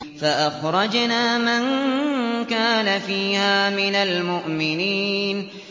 فَأَخْرَجْنَا مَن كَانَ فِيهَا مِنَ الْمُؤْمِنِينَ